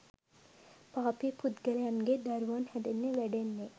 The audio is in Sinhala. පාපී පුද්ගලයන්ගේ දරුවන් හැදෙන්නෙ වැඩෙන්නෙ